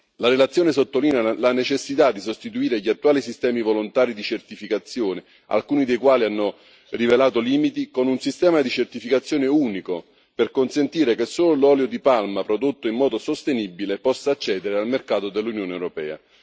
La relazione sottolinea la necessità di sostituire gli attuali sistemi volontari di certificazione, alcuni dei quali hanno rivelato limiti, con un sistema di certificazione unico per far sì che solo l'olio di palma prodotto in modo sostenibile possa accedere al mercato dell'Unione europea.